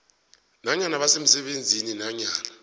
nanyana basemsebenzini nanyana